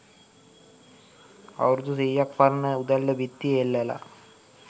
අවුරුදු සීයක් පරණ උදැල්ල බිත්තියේ එල්ලලා